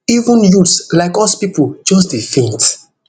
even youths like us pipo just dey faint